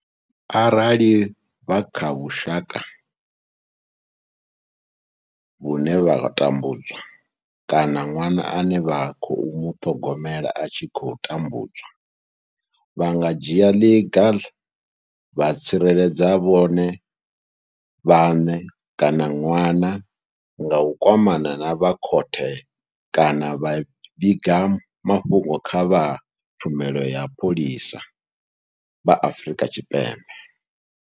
Arali vha kha vhusha ka vhune vha tambudzwa kana ṅwana ane vha khou muṱhogomela a tshi khou tambudzwa, vha nga dzhia ḽiga vha tsireledza vhone vhaṋe kana ṅwana nga u kwamana na vha khothe kana vha vhiga mafhungo kha vha tshumelo ya mapholisa vha Afrika Tshipembe.